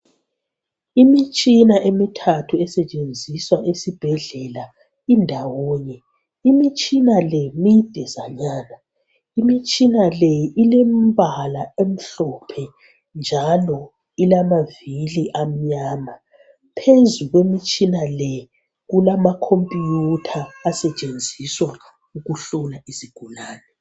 Imitshina emuthathu esetshenziswa esibhedlela indawonye. Imitshina le midezanyana. Imitshina le ilembala emhlophe njalo ilamavili amnyama. Phezu kwemitshina le kulama computer esetshenziswa ukuhlola izigulane.